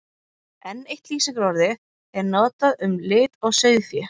Enn eitt lýsingarorðið er notað um lit á sauðfé.